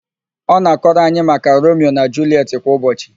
Ọ na-akọrọ anyị maka Romio na Juliet kwa ụbọchị